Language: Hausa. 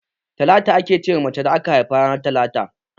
Talatu ake ce ma mace da aka haifa ranar talata.